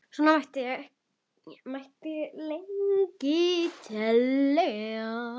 Og svona mætti lengi telja.